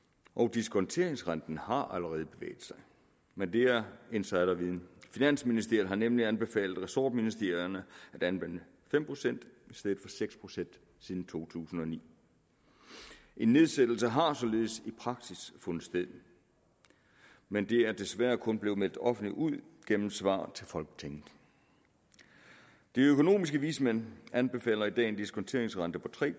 diskonteringsrenten har allerede bevæget sig men det er insiderviden finansministeriet har nemlig anbefalet ressortministerierne at anvende fem procent i stedet for seks procent siden to tusind og ni en nedsættelse har således i praksis fundet sted men det er desværre kun blevet meldt offentligt ud gennem svar til folketinget de økonomiske vismænd anbefaler i dag en diskonteringsrente på tre